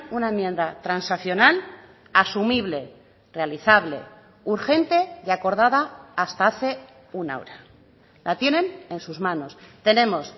una enmienda transaccional asumible realizable urgente y acordada hasta hace una hora la tienen en sus manos tenemos